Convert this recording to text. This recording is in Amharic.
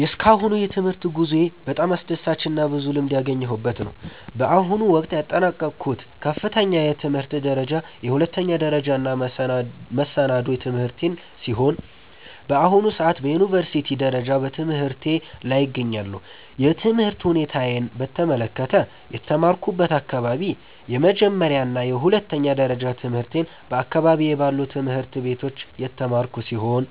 የእስካሁኑ የትምህርት ጉዞዬ በጣም አስደሳችና ብዙ ልምድ ያገኘሁበት ነው። በአሁኑ ወቅት ያጠናቀቅኩት ከፍተኛ የትምህርት ደረጃ የሁለተኛ ደረጃና መሰናዶ ትምህርቴን ሲሆን፣ በአሁኑ ሰዓት በዩኒቨርሲቲ ደረጃ በትምህርቴ ላይ እገኛለሁ። የትምህርት ሁኔታዬን በተመለከተ፦ የተማርኩበት አካባቢ፦ የመጀመሪያና የሁለተኛ ደረጃ ትምህርቴን በአካባቢዬ ባሉ ትምህርት ቤቶች የተማርኩ ሲሆን፣